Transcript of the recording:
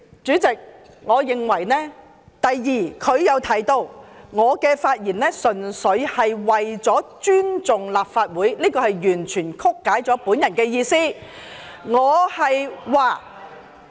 主席，我認為，第二，他又提到我的發言純粹為了尊重立法會，這完全曲解了我的意思。